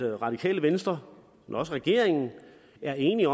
at radikale venstre og også regeringen er enige